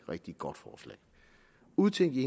rigtig godt forslag udtænkt i